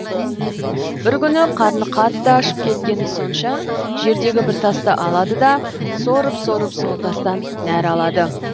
бір күні қарны қатты ашып кеткені сонша жердегі бір тасты алады да сорып сорып сол тастан нәр алады